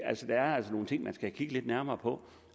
altså er nogle ting man skal kigge lidt nærmere på